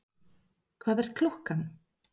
Hvað er klukkan?